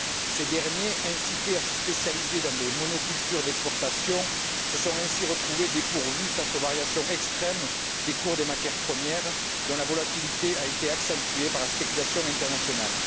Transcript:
Ces derniers, incités à se spécialiser dans des monocultures d'exportation, se sont ainsi retrouvés dépourvus face aux variations extrêmes des cours des matières premières, dont la volatilité a été accentuée par la spéculation internationale.